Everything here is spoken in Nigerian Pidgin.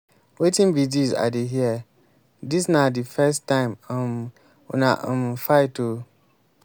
wetin be dis i dey hear? dis na the first time um una um fight oo.